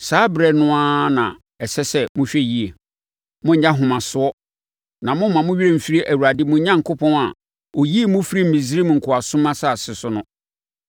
a, saa ɛberɛ no na ɛsɛ sɛ mohwɛ yie. Monnyɛ ahomasoɔ na mommma mo werɛ mfiri Awurade mo Onyankopɔn a ɔyii mo firii Misraim nkoasom asase so no.